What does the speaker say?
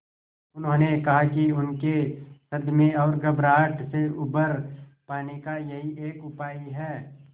उन्होंने कहा कि उनके सदमे और घबराहट से उबर पाने का यही एक उपाय है